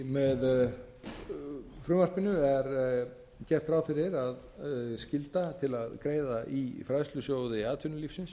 með frumvarpinu er gert ráð fyrir að skylda til að greiða í fræðslusjóði atvinnulífsins